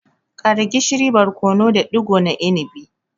Ƙara gishiri, barkono da digo na inibi.